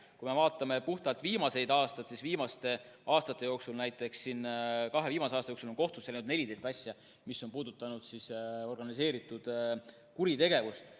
Kui me vaatame puhtalt viimaseid aastaid, siis näiteks kahe viimase aasta jooksul on kohtusse läinud 14 asja, mis on puudutanud organiseeritud kuritegevust.